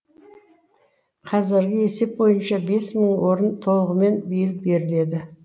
қазіргі есеп бойынша бес мың орын толығымен биыл беріледі